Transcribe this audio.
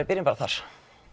byrjum bara þar